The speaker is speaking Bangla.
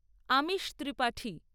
আমিশ ত্রিপাঠী